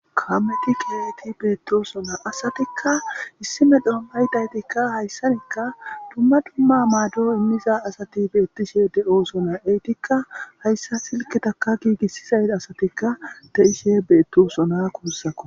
Kaameti keehidi beetosona asatikka issi medho maydaytikka. Hayssankka dumma dumma maado immiza asati beetishe de7oosona. Ettika hayssa silkketaka giigisida asatikka de7ishe beetosona guussakko.